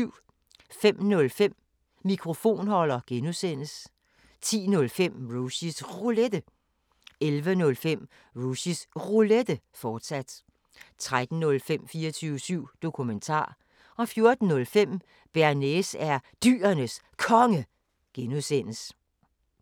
05:05: Mikrofonholder (G) 10:05: Rushys Roulette 11:05: Rushys Roulette, fortsat 13:05: 24syv Dokumentar 14:05: Bearnaise er Dyrenes Konge (G)